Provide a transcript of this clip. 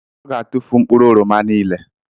Ọ ga-atụfu mkpụrụ oroma niile